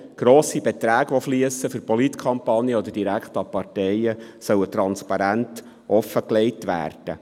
Doch, grosse Beträge, welche in Politkampagnen oder direkt an die Parteien fliessen, sollen transparent offengelegt werden.